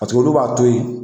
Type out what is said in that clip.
Paseke olu b'a to yen